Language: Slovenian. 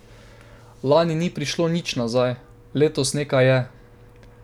Lani ni prišlo nič nazaj, letos nekaj je.